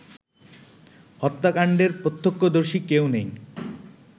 হত্যাকাণ্ডের প্রত্যক্ষদর্শী কেউ নেই